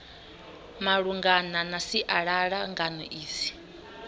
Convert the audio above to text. malungana na sialala ngano idzi